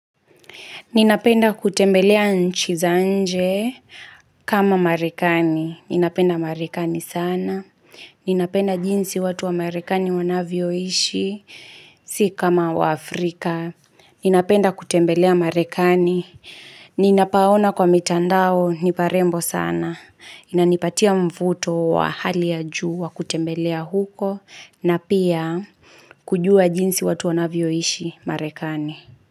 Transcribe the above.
Ninapenda kutembelea nchizanje kama marekani. Ninapenda marekani sana. Ninapenda jinsi watu wa marekani wanavyo ishi, si kama wa Afrika. Ninapenda kutembelea marekani. Ninapaona kwa mitandao, niparembo sana. Inanipatia mvuto wa hali ya juu wa kutembelea huko, na pia kujua jinsi watu wanavyo ishi marekani.